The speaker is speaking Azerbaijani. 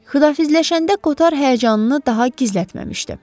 Xudafizləşəndə Koter həyəcanını daha gizlətməmişdi.